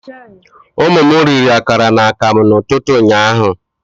Ụmụ m riri akara na akamụ n'ụtụtụ ụnyaahụ